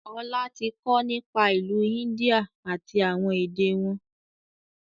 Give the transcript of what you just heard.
Ọlá tí kọ nípa ìlú India àti àwọn èdè wọn